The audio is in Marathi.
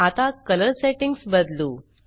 आता कलर सेट्टिंग्स बदलू